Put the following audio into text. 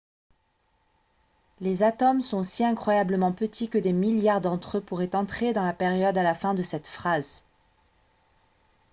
les atomes sont si incroyablement petits que des milliards d'entre eux pourraient entrer dans la période à la fin de cette phrase